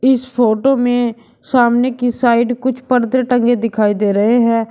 इस फोटो में सामने की साइड कुछ पर्दे टंगे दिखाई दे रहे हैं।